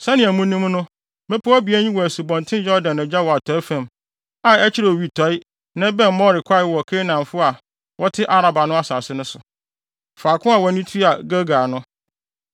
Sɛnea munim no, mmepɔw abien yi wɔ Asubɔnten Yordan agya wɔ atɔe fam, a ɛkyerɛ owitɔe na ɛbɛn More kwae wɔ Kanaanfo a wɔte Araba no asase so; faako a wɔn ani tua Gilgal no.